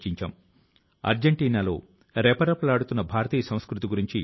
ఈ NCC cadets సముద్రపు ఒడ్డు ప్రాంతాల ను శుభ్రపరిచారు